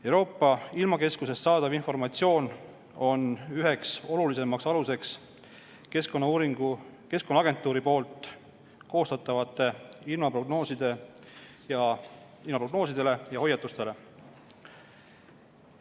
Euroopa ilmakeskusest saadav informatsioon on üheks olulisemaks aluseks Keskkonnaagentuuri koostatavatele ilmaprognoosidele ja hoiatustele.